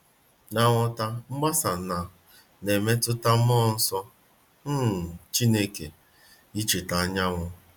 N'ịghọta mgbasa na na mmetụta mmụọ nsọ um Chukwu, i cheta anyanwu